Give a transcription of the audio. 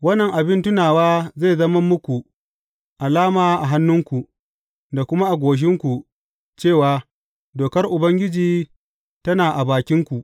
Wannan abin tunawa zai zama muku alama a hannunku, da kuma a goshinku cewa dokar Ubangiji tana a bakinku.